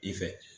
I fɛ